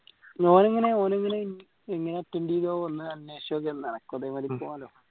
ഓൻ എങ്ങനെയാ ഓൻ എങ്ങനെയാ എങ്ങനെയാ attend